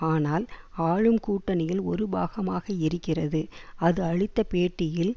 ஆனால் ஆளும் கூட்டணியில் ஒரு பாகமாக இருக்கிறது அது அளித்த பேட்டியில்